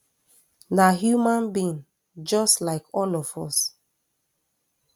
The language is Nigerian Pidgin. na human being just like all of us